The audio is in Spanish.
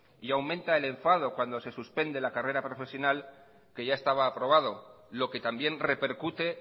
y aumenta el enfado cuando se suspende la carrera profesional que ya estaba aprobado lo que también repercute